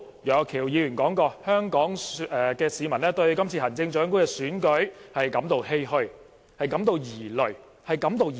楊岳橋議員今天早上說香港市民對今次行政長官選舉感到欷歔、疑慮。